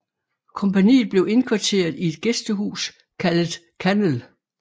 Kompagniet blev indkvarteret i et gæstehus kaldet Kannel